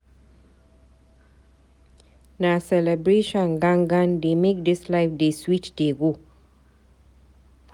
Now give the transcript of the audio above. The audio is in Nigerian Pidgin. Na celebration gan gan dey make dis life dey sweet dey go.